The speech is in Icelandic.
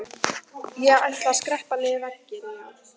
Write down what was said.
Ég ætla að skreppa niður vegginn, já.